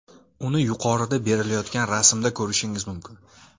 Uni yuqorida berilayotgan rasmda ko‘rishingiz mumkin.